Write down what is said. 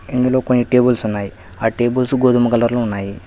ఇందులో పైన టేబుల్స్ ఉన్నాయి ఆ టేబుల్స్ గోధుమ కలలో ఉన్నాయి.